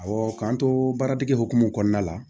Awɔ k'an to baara dege hokumu kɔnɔna la